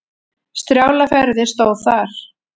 Strjálar ferðir stóð þar.